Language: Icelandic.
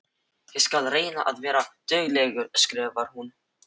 Ég skal reyna að vera dugleg, skrifar hún.